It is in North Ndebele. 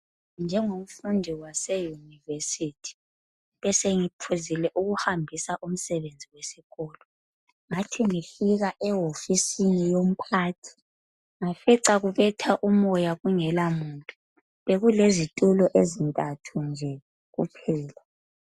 Njengomfundi wase yunivesithi besengiphuzile ukuhambisa umsebenzi wesikolo ngathi ngifika ehosfisini yomphathi ngafica ukubetha umoya kungela muntu bekulezitulo ezintantu nje kuphela.